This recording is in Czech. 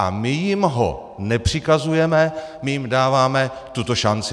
A my jim ho nepřikazujeme, my jim dáváme tuto šanci.